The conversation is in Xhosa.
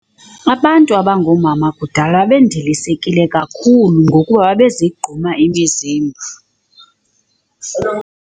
Abantu abangoomama kudala babendilisekile kakhulu ngokuba babe zigquma imizimba.